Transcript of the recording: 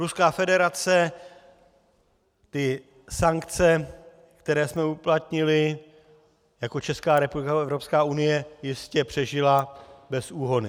Ruská federace ty sankce, které jsme uplatnili jako Česká republika nebo Evropská unie, jistě přežila bez úhony.